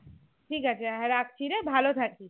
ঠিক আছে হ্যাঁ রাখছিরে ভালো থাকিস